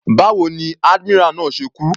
Báwo ni admiral náà ṣe kú.